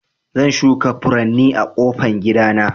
Zan shuka furanni a ƙofan gida na.